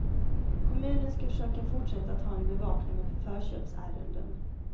Kommunen skall försöka fortsätta att ha en bevakning av förköpsärenden.